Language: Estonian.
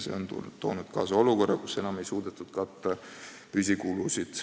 See on toonud kaasa olukorra, kus enam pole suudetud katta püsikulusid.